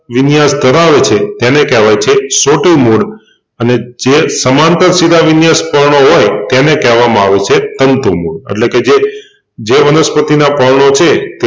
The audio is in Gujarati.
તે વિન્યાસ ધરાવે છે એને કેહવાય છે સોટી મૂળ અને જે સમાંતર શિરાવિન્યાસ પર્ણો હોય તેને કેહવામાં આવે છે તંતુ મૂળ એટલેકે જે જે વનસ્પતિના પર્ણો છે